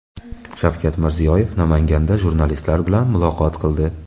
Shavkat Mirziyoyev Namanganda jurnalistlar bilan muloqot qildi.